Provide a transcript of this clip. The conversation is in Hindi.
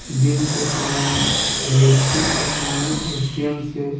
दिन के समय में व्यक्ति अपने एटीएम से--